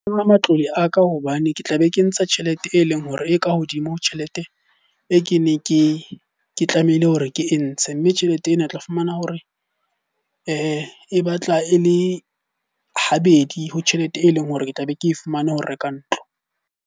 matlole a ka hobane ke tla be ke ntsha tjhelete e leng hore e ka hodimo ha tjhelete e kene ke ke tlamehile hore ke e ntshe. Mme tjhelete ena o tla fumana hore e batla e le habedi ho tjhelete e leng hore ke tla be ke e fumane ho reka ntlo.